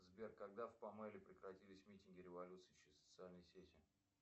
сбер когда в памеле прекратились митинги революции через социальные сети